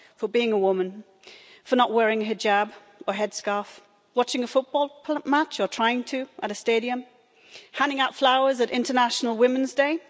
For being a woman, for not wearing a hijab, or headscarf, watching a football match or trying to at a stadium, handing out flowers on International Women's Day.